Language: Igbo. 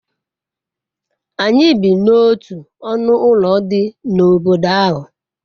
anyi bi n'otu onu ulo di n'obodo ahu